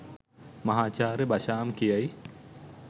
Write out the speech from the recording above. මහාචාර්ය බෂාම් කියයි